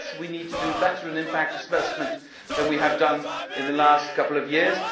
Yes, we need to do better in impact assessment than we have done in the last couple